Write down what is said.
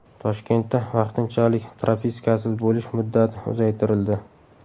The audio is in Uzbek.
Toshkentda vaqtinchalik propiskasiz bo‘lish muddati uzaytirildi.